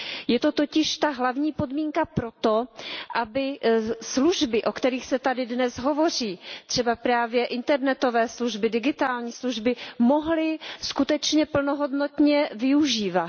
Je to totiž ta hlavní podmínka pro to, aby služby, o kterých se tady dnes hovoří, třeba právě internetové služby, digitální služby, mohli skutečně plnohodnotně využívat.